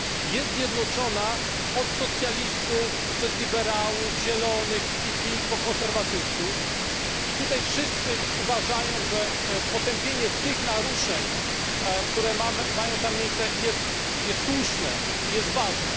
Jest zjednoczona od socjalistów przez liberałów, Zielonych, PPE po konserwatystów tutaj wszyscy uważają, że potępienie tych naruszeń, które mają tam miejsce jest słuszne i jest ważne.